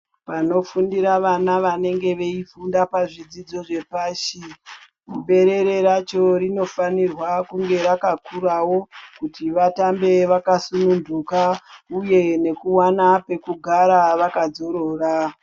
Panofundira vanonge veifunda zvidzidzo zvepashi, berere racho rinofanirwe kunge rakakurawo kuti vatambe vakasununguka uye nekuwana pekugara vakadzorora.